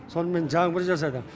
сонымен жаңбыр жасады